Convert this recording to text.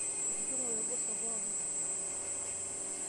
Etudung'ote irgoso pookin.